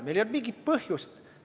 Meil ei olnud mingit põhjust.